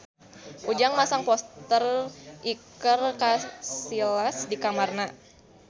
Ujang masang poster Iker Casillas di kamarna